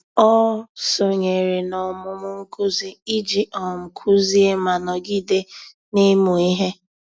Ọ́ sònyèrè n’ọ́mụ́mụ́ nkuzi iji um kụ́zị́é ma nọ́gídé n’ị́mụ́ ihe.